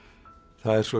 það er svo